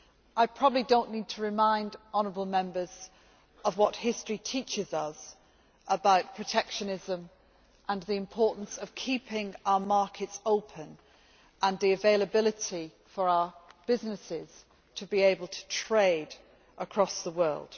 I probably do not need to remind honourable Members of what history teaches us about protectionism, the importance of keeping our markets open and the possibility for our businesses to be able to trade across the world.